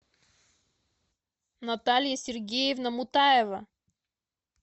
наталья сергеевна мутаева